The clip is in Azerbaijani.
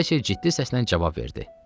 Valsya ciddi səslə cavab verdi.